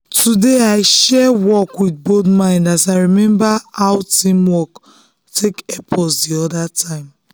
today i share work with bold mind as i dey remember how team work take help us the other time.